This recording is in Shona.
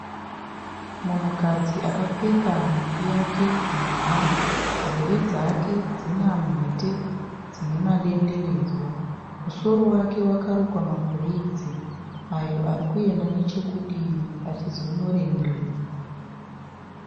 Munhukadzi akapfeka nhumbi yake nhema, nzeve dzake dzine mhete dzine madenderedzwa. Musoro wake wakarukwa mabhureidzi ayo arikuyenda nechekudivi achizono rembera.